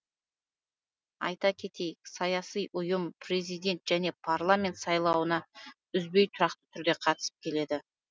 айта кетейік саяси ұйым президент және парламент сайлауына үзбей тұрақты түрде қатысып келеді